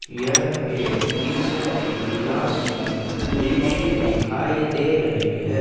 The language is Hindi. यह एक टिशन के किलास की दृश्य दिखाई दे रही है।